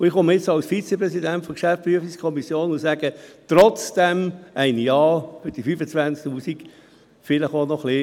Und nun komme ich als Vizepräsident der Geschäftsprüfungskommission und sage: Trotzdem ein Ja für die 25 000 Franken, vielleicht auch noch ein wenig mehr.